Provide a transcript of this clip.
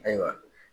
Ayiwa